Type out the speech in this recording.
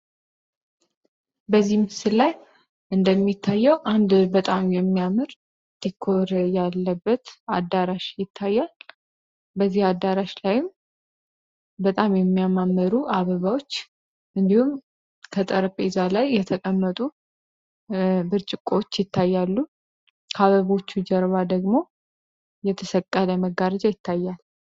በዚህ ምስላይ እንደሚታየው አንድ በጣም የሚያምር ዲኮር ያለበት አዳራሽ ይታያል .።በዚህ አዳራሽ ላይም በጣም የሚያማመሩ አበባዎች እንዲሁም ከጠረጴዛ ላይ የተቀመጡ ብርጭቆዎች ይታያሉ። ከአበቦቹ ጀርባ ደግሞ የተሰቀለ መጋርጃ ይታያል።